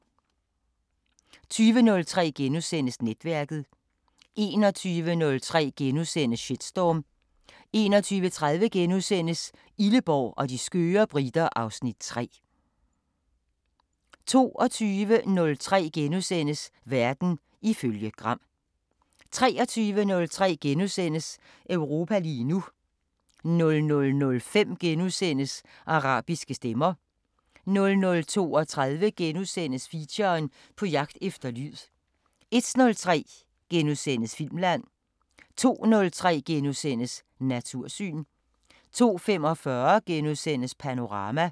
20:03: Netværket * 21:03: Shitstorm * 21:30: Illeborg og de skøre briter (Afs. 3)* 22:03: Verden ifølge Gram * 23:03: Europa lige nu * 00:05: Arabiske Stemmer * 00:32: Feature: På jagt efter lyd * 01:03: Filmland * 02:03: Natursyn * 02:45: Panorama *